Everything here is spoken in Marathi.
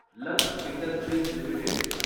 lux industries limited